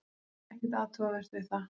Ekkert athugavert við það.